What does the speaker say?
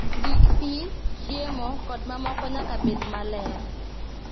Gik pi, chiemo, kod mamoko nyaka bed maler